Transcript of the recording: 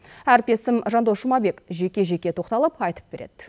әріптесім жандос жұмабек жеке жеке тоқталып айтып береді